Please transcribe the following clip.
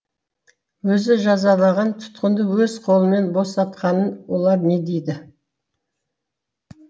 өзі жазалаған тұтқынды өз қолымен босатқанын олар не дейді